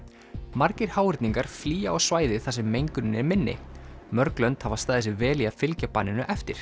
margir háhyrningar flýja á svæði þar sem mengunin er minni mörg lönd hafa staðið sig vel í að fylgja banninu eftir